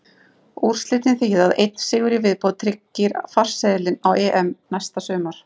Úrslitin þýða að einn sigur í viðbót tryggir farseðilinn á EM næsta sumar.